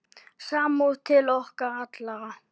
Samúð til okkar allra.